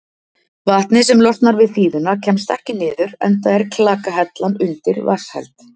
Vatnið sem losnar við þíðuna kemst ekki niður enda er klakahellan undir vatnsheld.